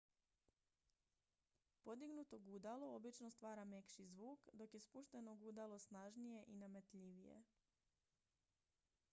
podignuto gudalo obično stvara mekši zvuk dok je spušteno gudalo snažnije i nametljivije